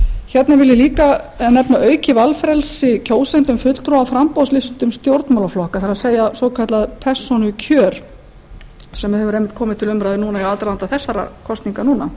hérna vil ég líka nefna aukið valfrelsi kjósenda um fulltrúa á framboðslistum stjórnmálaflokka það er svokallað persónukjör sem hefur komið til umræðu í aðdraganda þessara kosninga núna